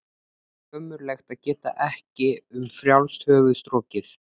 Ömurlegt að geta ekki um frjálst höfuð strokið.